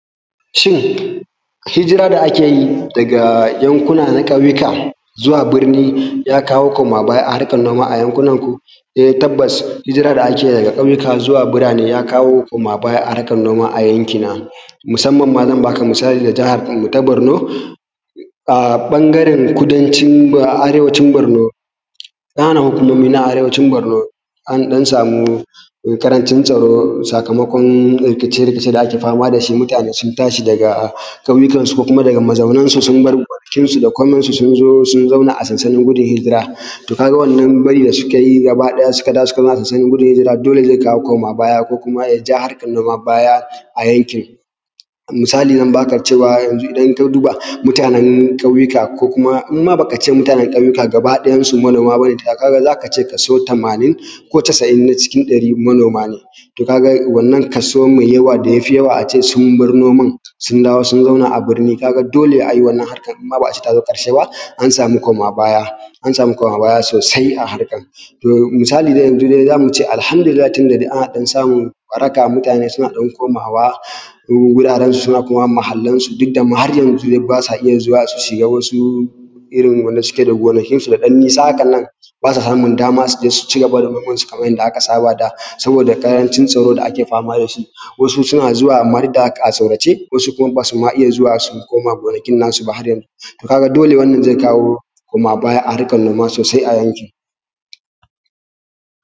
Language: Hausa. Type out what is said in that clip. Shin hijira da akeyi daga yankuna na ƙauyuka zuwa birni ya kawo koma baya a harkan noma a yankunan ku? Eh tabbas, hijira da ake daga ƙauyuka zuwa birane ya kawo koma baya a harkan noma a yankina. Musamman ma zan baka misali da jahar mu ta Borno, a ɓangaren kudancin arewacin Barno, ƙananan hukumomin arewacin Barno, an ɗan samu ƙarancin tsaro, sakamakon rikice-rikice da ake fama da shi, shi mutane sun tashi daga ƙauyukan su ko kuma daga mazaunan su sun bar dukiyar su da koman su, sun zo sun zauna a sansanin gudun hijira, to ka ga wannan bari da sukayi gaba ɗaya, suka dawo suka zauna a sansanin gudun hijira dole zai kawo koma baya ko kuma yaja harkan noma baya a yankin. Misali zan baka cewa a yanzu ,idan ka duba mutanen ƙauyuka, in ma baka ce mutanen ƙauyuka gaba ɗayan su manoma bane, ka ga zaka ce kaso tamanin ko casa’in na cikin ɗari manoma ne, to ka ga wannan kaso mai yawa da yafi yawa sun bar noman sun dawo sun zauna a birni, ka ga dole wannan harkar in ma ba a ce tazo ƙarshe ba an samu koma baya, an samu koma baya sosai a harkar, to misali dai yanzu zamu ce Alhamdulillahi, tun da dai ana ɗan samun waraka, mutane suna ɗan komawa wuraren su, suna komawa muhallen su, duk da ma har yanzu basu iya zuwa su shiga wasu irin wanda suke da gonakin su da ɗan nisa hakanan, ba su samun dama suje su cigaba da noman su kaman yanda aka saba da, saboda ƙarancin tsaro da ake fama da shi, wasu suna zuwa duk da haka amma a tsorace, wasu kuma basu ma iya zuwa koma gonakin nasu har yanzu, to ka ga dole wannan zai kawo koma baya a harkan noma sosai a yankin.